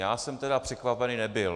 Já jsem tedy překvapen nebyl.